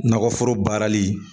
Nakɔforo baarali.